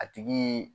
A tigi